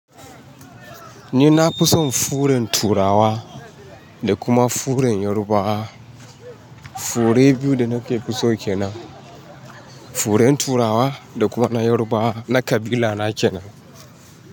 Ni na fi son furen Turawa da kuma furen Yorubawa. Fure biyu da nake ke fi so kenan. Furen Turawa da kuma na Yarbawa na ƙabila na kenan.